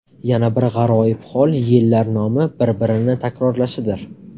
Yana bir g‘aroyib hol yillar nomi bir-birini takrorlashidir.